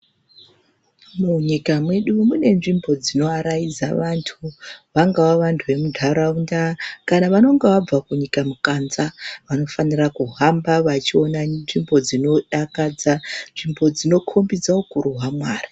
Munyika mwedu mune nzvimbo dzinoaraidza vantu, vangava vantu vemuntaraunda kana vanonga vabva kunyika mukanza vanofanira kuhamba vachiona nzvimbo dzinodakadza, nzvimbo dzino khombidze ukuru hwaMwari.